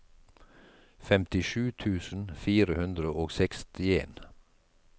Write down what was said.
femtisju tusen fire hundre og sekstien